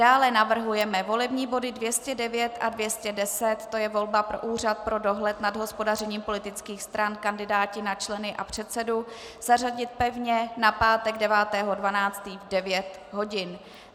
Dále navrhujeme volební body 209 a 210, to je volba pro Úřad pro dohled nad hospodařením politických stran, kandidáti na členy a předsedu, zařadit pevně na pátek 9.12. v 9 hodin.